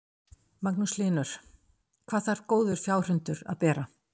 Magnús Hlynur: Hvað þarf góður fjárhundur að bera?